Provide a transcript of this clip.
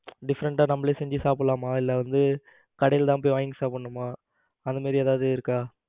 ? different டா நம்மளை செஞ்சு சாப்பிடலாமா இல்ல அதாவது கடையில தான் போய் வாங்கி சாப்பிடனுமா அந்த மாதிரி ஏதாவது இருக்கா